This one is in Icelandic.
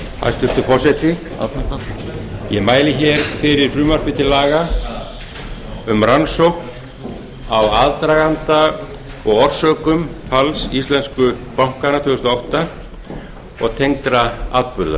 hæstvirtur forseti ég mæli fyrir frumvarpi til laga um rannsókn á aðdraganda og orsökum falls íslensku bankanna tvö þúsund og átta og tengdra